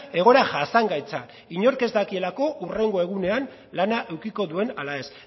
egoera jasangaitza inork ez dakielako hurrengo egunean lana edukiko duen ala ez